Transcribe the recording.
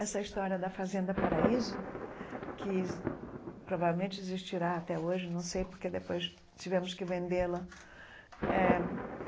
Essa história da Fazenda Paraíso, que provavelmente existirá até hoje, não sei, porque depois tivemos que vendê-la eh.